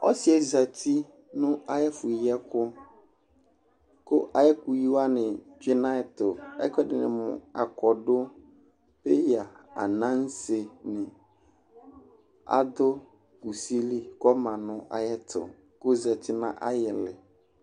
ɔsiɛ zati nu ayi ɛfu yi ɛku yɛ, ku ayi ɛku yi wʋani tsʋe nu ayɛtu, ɛku ɛdini mu akɔdu, peya, ananse ni adu kusie li ku ama nu ayɛtu ku ozati nu ayi ili